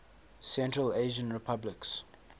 central asian republics